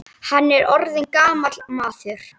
Hann er orðinn gamall maður.